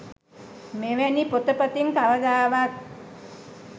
මෙවැනි පොත පතින් කවදාවත්